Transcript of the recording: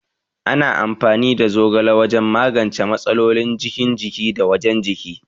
Ana amfani da zogala wajan magance matsalolin cikin jiki da wajan jiki